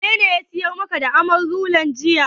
Wanene ya siyar maka da Amarula jiya?